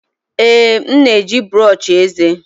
Ee, m na-eji brọsh eze.